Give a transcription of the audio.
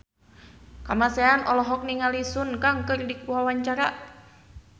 Kamasean olohok ningali Sun Kang keur diwawancara